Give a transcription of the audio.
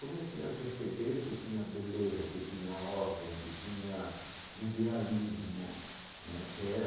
Comecei a perceber que tinha beleza, que tinha ordem, que tinha idealismo né, que era